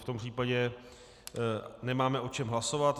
V tom případě nemáme o čem hlasovat.